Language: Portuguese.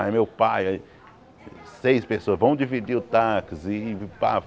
Aí meu pai aí, seis pessoas, vamos dividir o táxi e pá.